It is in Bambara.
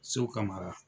Sow ka mara